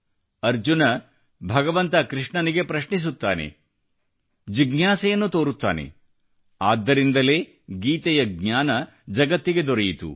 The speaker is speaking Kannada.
ಅರ್ಜುನ ಭಗವಂತ ಕೃಷ್ಣನಿಗೆ ಪ್ರಶ್ನಿಸುತ್ತಾನೆ ಜಿಜ್ಞಾಸೆಯನನ್ಉ ತೋರುತ್ತಾನೆ ಆದ್ದರಿಂದಲೇ ಗೀತೆಯ ಜ್ಞಾನ ಜಗತ್ತಿಗೆ ದೊರೆಯಿತು